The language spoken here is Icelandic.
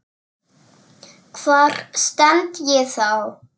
Hvar stend ég þá?